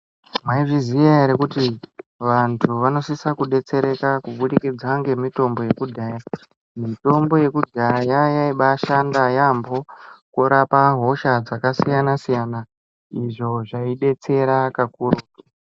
Mwaizviziya ere kuti vantu vanosisa kubetsereka kubudikidza ngemitombo yekudhaya. Mitombo yekudhaya yaibashanda yambo kurapa hosha dzakasiyana siyana izvo zvaibetsera kakuru